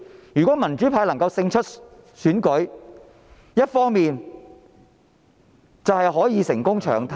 如果民主派能夠勝出選舉，一方面可以成功"搶灘"......